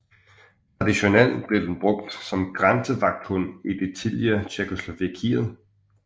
Traditionelt blev den brugt som grænsevagthund i det tidligere Tjekkoslovakiet